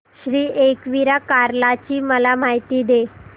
श्री एकविरा कार्ला ची मला माहिती दे